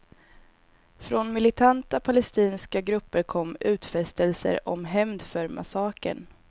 Från militanta palestinska grupper kom utfästelser om hämnd för massakern.